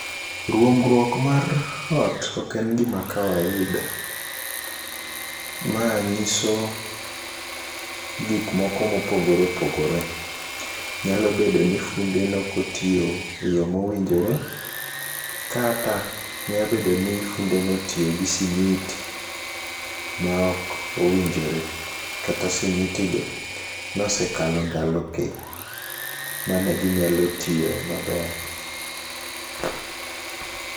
Ruombruok mar ot ok en gima kawaida, ma ng'iso gik moko mopogore opogore. Nyalo bedo ni funde nokotiyo e yo mowinjore, kata, nyabedo ni fundo notiyo gi simiti ma ok owinjore. Kata simiti go nosekalo ndalo gi mane ginyalo tiye maber.